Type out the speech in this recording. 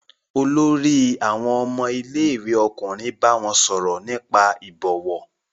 Olórí àwọn ọmọ ilé-ìwé ọkùnrin bá wọn sọ̀rọ̀ nípa ìbọ̀wọ̀?